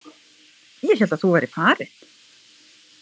Ég hélt að þú værir farin.